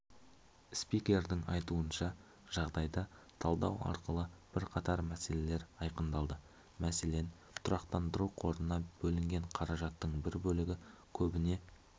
спикердің айтуынша жағдайда талдау арқылы бірқатар мәселелер айқындалды мәселен тұрақтандыру қорына бөлінген қаражаттың бір бөлігі көбіне